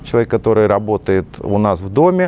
человек который работает у нас в доме